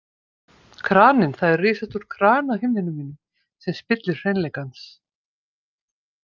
Kraninn Það er risastór krani á himninum mínum sem spillir hreinleika hans.